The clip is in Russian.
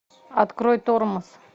открой тормоз